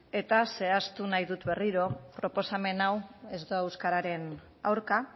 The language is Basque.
eta zehaztu nahi dut berriro proposamen hau ez dela euskararen aurka